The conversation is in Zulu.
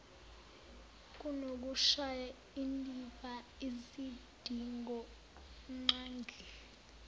kunokushaya indiva izidingonqangi